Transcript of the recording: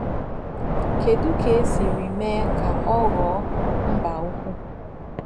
Kedu ka e siri mee ka ọ ghọọ “ mba ukwu ”?